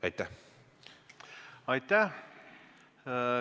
Aitäh!